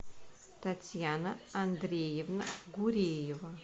татьяна андреевна гуреева